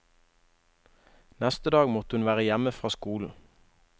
Neste dag måtte hun være hjemme fra skolen.